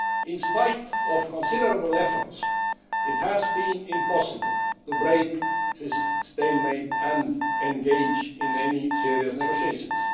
In spite of considerable efforts it has been impossible to break this stalemate and engage in any serious negotiations.